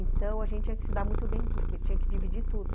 Então, a gente tinha que se dar muito bem, porque tinha que dividir tudo.